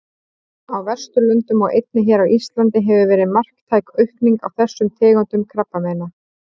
Á Vesturlöndum og einnig hér á Íslandi hefur verið marktæk aukning á þessum tegundum krabbameina.